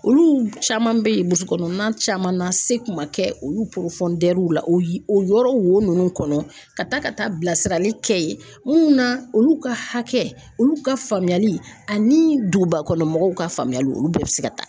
Olu caman bɛ ye burusu kɔnɔna caman na se kun ma kɛ olu la o ye o yɔrɔ wo ninnu kɔnɔ ka taa ka taa bilasirali kɛ ye minnu na olu ka hakɛ olu ka faamuyali ani duguba kɔnɔmɔgɔw ka faamuyali olu bɛɛ bɛ se ka taa